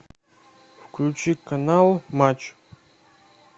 включи канал матч